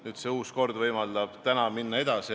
Nüüd see uus kord võimaldab täna minna edasi.